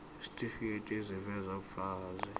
isitifiketi eziveza ubufakazi